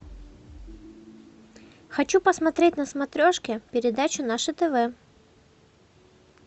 хочу посмотреть на смотрешке передачу наше тв